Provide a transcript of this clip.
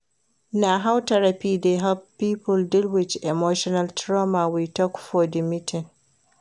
Na how therapy dey help pipo deal wit emotional trauma we tok for di meeting.